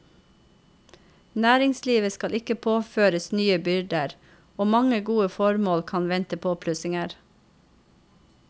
Næringslivet skal ikke påføres nye byrder, og mange gode formål kan vente påplussinger.